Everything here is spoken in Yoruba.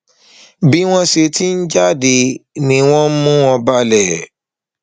bí wọn sì ti ń jáde ni wọn ń mú mú wọn balẹ